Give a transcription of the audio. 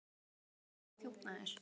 Er þetta ekki kallað sauðaþjófnaður?